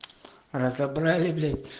разобрали блять